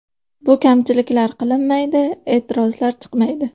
Bu kamchiliklar qilinmaydi, e’tirozlar chiqmaydi.